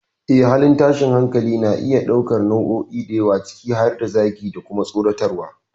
Yes, halin tashin hankali na iya ɗaukar nau'o'i da yawa, ciki har da zagi, da kuma tsoratarwa.